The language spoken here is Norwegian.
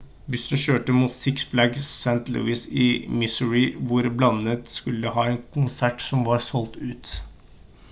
bussen kjørte mot six flags st louis i missouri hvor bandet skulle ha en konsert som var solgt ut